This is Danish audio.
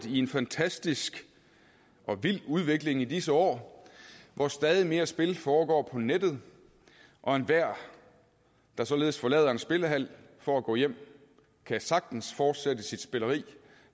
i en fantastisk og vild udvikling i disse år hvor stadig flere spil foregår på nettet og enhver der således forlader en spillehal for at gå hjem kan sagtens fortsætte sit spilleri